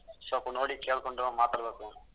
ಸಲ್ಪ ನೋಡಿ ಕೇಳ್ಕೊಂಡು ಮಾತಾಡ್ಬೇಕು.